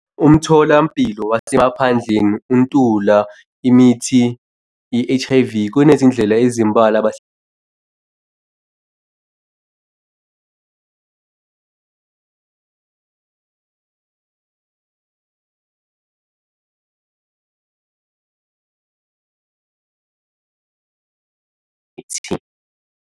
Umtholampilo wasemaphandleni ukuntula imithi ye-H_I_V. Kunezindlela ezimbalwa .